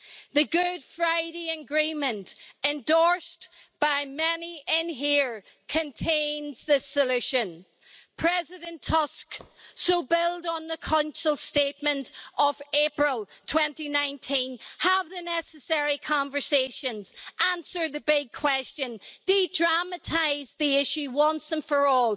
The Good Friday Agreement, endorsed by many here, contains the solution, President Tusk, so build on the Council statement of April 2019, have the necessary conversations, answer the big question, de dramatize the issue once and for all.